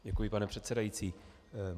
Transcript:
Děkuji, pane předsedající.